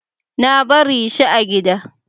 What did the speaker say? Na bari shi a gida.